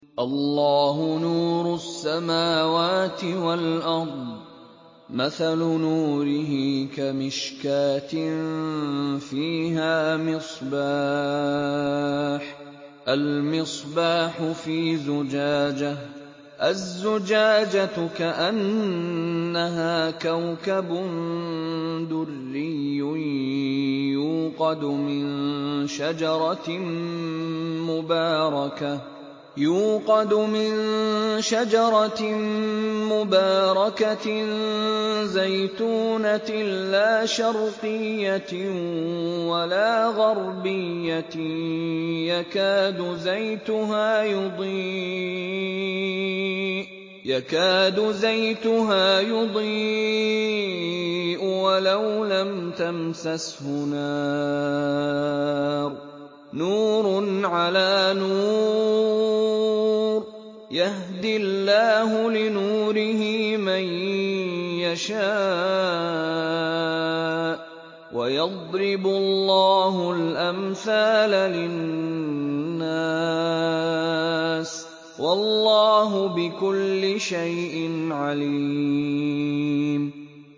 ۞ اللَّهُ نُورُ السَّمَاوَاتِ وَالْأَرْضِ ۚ مَثَلُ نُورِهِ كَمِشْكَاةٍ فِيهَا مِصْبَاحٌ ۖ الْمِصْبَاحُ فِي زُجَاجَةٍ ۖ الزُّجَاجَةُ كَأَنَّهَا كَوْكَبٌ دُرِّيٌّ يُوقَدُ مِن شَجَرَةٍ مُّبَارَكَةٍ زَيْتُونَةٍ لَّا شَرْقِيَّةٍ وَلَا غَرْبِيَّةٍ يَكَادُ زَيْتُهَا يُضِيءُ وَلَوْ لَمْ تَمْسَسْهُ نَارٌ ۚ نُّورٌ عَلَىٰ نُورٍ ۗ يَهْدِي اللَّهُ لِنُورِهِ مَن يَشَاءُ ۚ وَيَضْرِبُ اللَّهُ الْأَمْثَالَ لِلنَّاسِ ۗ وَاللَّهُ بِكُلِّ شَيْءٍ عَلِيمٌ